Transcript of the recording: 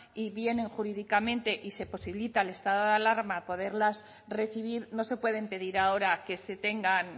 y vienen jurídicamente y se posibilita el estado de alarma poderlas recibir no se pueden pedir ahora que se tengan